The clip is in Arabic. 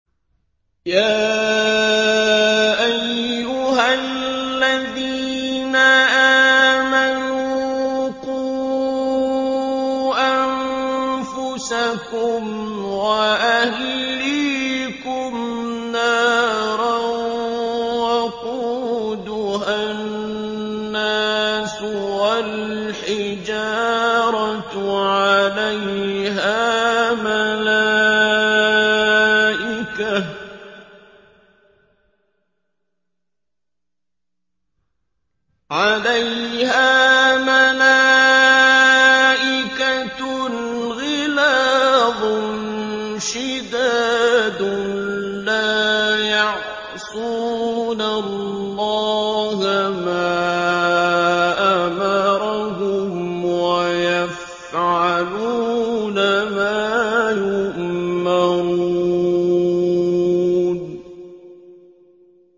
يَا أَيُّهَا الَّذِينَ آمَنُوا قُوا أَنفُسَكُمْ وَأَهْلِيكُمْ نَارًا وَقُودُهَا النَّاسُ وَالْحِجَارَةُ عَلَيْهَا مَلَائِكَةٌ غِلَاظٌ شِدَادٌ لَّا يَعْصُونَ اللَّهَ مَا أَمَرَهُمْ وَيَفْعَلُونَ مَا يُؤْمَرُونَ